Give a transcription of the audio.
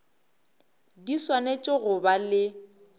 di swanetše go ba le